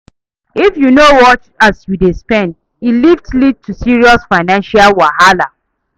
If yu no watch as yu dey spend, e fit lead to serious financial wahala